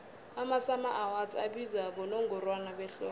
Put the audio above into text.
amasummer awards abizwa bonongorwana behlobo